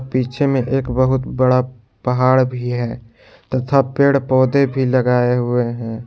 पीछे में एक बहुत बड़ा पहाड़ भी है तथा पेड़ पौधे भी लगाए हुए हैं।